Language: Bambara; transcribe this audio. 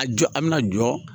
A jɔ a' mɛna jɔ